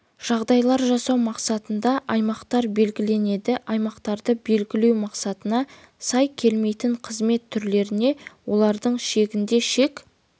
жағдайлар жасау мақсатында аймақтар белгіленеді аймақтарды белгілеу мақсаттарына сай келмейтін қызмет түрлеріне олардың шегінде шек